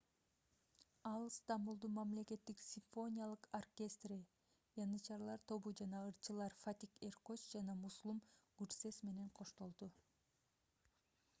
ал стамбулдун мамлекеттик симфониялык оркестри янычарлар тобу жана ырчылар фатих эркоч жана mүслүм гүрсес менен коштолду